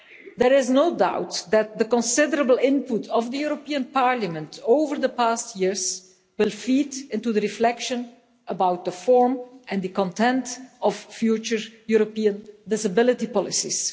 There is no doubt that the considerable input of the European Parliament over the past years will feed into the reflection about the form and the content of future European disability policies.